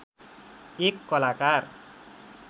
एक कलाकार